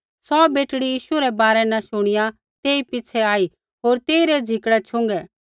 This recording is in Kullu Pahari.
सौ बेटड़ी यीशु रै बारै न शुणिया तेई पिछ़ै आई होर तेइरै झिकड़ै छ़ुँगै